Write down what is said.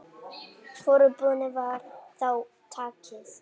Hvorugu boðinu var þá tekið.